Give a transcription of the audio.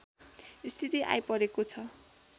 स्थिति आइपरेको छ